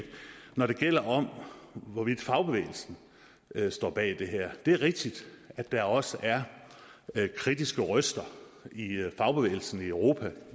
når det gælder om hvorvidt fagbevægelsen står bag det her er det rigtigt at der også er kritiske røster i fagbevægelsen i europa